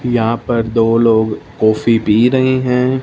यहां पर दो लोग कॉफी पी रहे हैं।